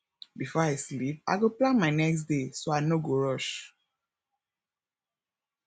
before i sleep i go plan my next day so i no go rush